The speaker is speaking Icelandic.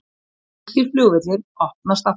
Þýskir flugvellir opnast aftur